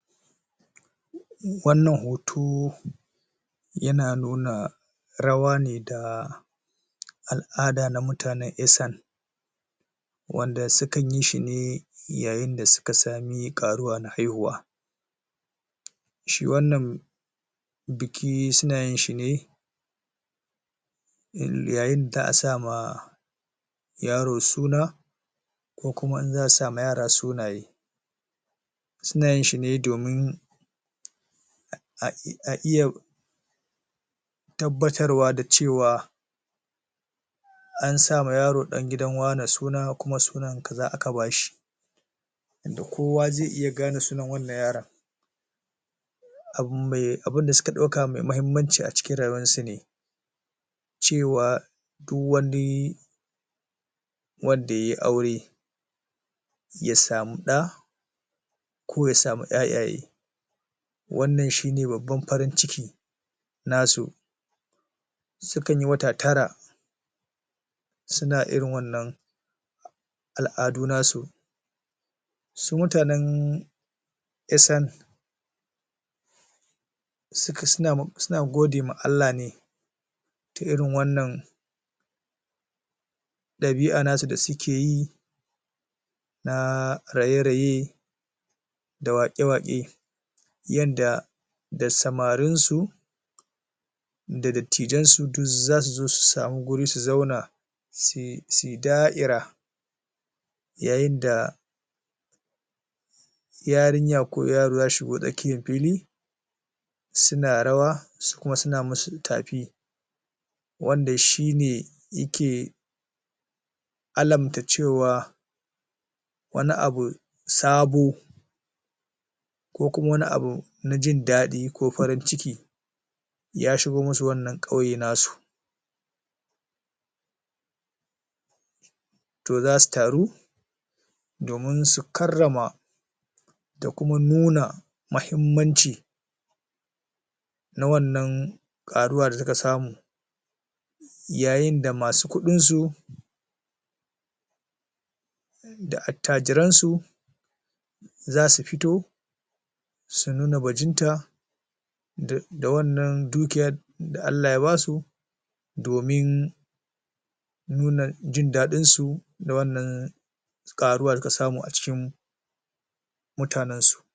Wannan hoto ya na nuna rawa ne da al'ada na mutanen Isan wanda sukan yi shi ne yayin da suka sami ƙaruwa na haihuwa. Shi wannan biki su na yin shi ne lo lo yayin da za'a sa ma yaro suna ko kuma in za'a sa ma yara sunaye. Su na yin shi ne domin a'i a iya tabbatarwa da cewa an sa ma yaro ɗan gidan wane suna, kuma sunan kaza aka bashi. Kowa zai iya gane sunan wannan yaro abu mai abunda suka mai muhimmanci a cikin rayuwarsu ne cewa duk wani wanda yayi aure ya samu ɗa ko ya samu ƴaƴaye, wannan shi ne babban farin ciki nasu. Sukan yi wata tara su na irin wannan al'adu nasu. Su mutanen Isan suka su na ma su na gode ma Allah ne ta irin wannan ɗabi'a nasu da suke yi na raye-raye da waƙe-waƙe yanda da samarin su da dattijan su duk za su zo su samu guri su zauna suyi suyi da'ira yayin da yarinya ko yaro za su shigo tsakkiyan fili su na rawa su kuma su na musu tafi. Wanda shi ne yake alamta cewa wani abu sabo ko kuma wani abu na jin daɗi ko farin ciki ya shigo musu wannan ƙauye nasu, to za su taru domin su karrama da kuma nuna mahimmanci na wannan ƙaruwa da suka samu. Yayin da masu kuɗin su da attajiransu za su fito su nuna bajinta da da wannan dukiya da Allah ya basu domin nuna jin daɗin su da wannan ƙaruwa da suka samu a cikin mutanensu.